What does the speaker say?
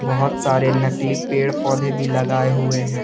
बहुत सारे नकली पेड़ पौधे भी लगाए हुए हैं।